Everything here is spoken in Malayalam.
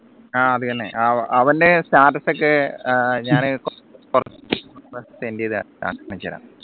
ആഹ് അത് തന്നെ അപ്പോ അവൻറെ status ഒക്കെ ഞാൻ